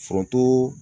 Foronto